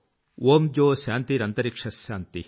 ఓం ద్యోశాన్తిరన్తరిక్ష శాన్తిః